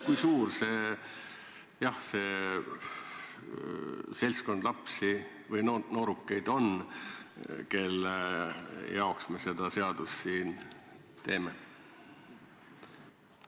Kui suur see seltskond lapsi või noorukeid on, kelle jaoks me seda seadust siin teeme?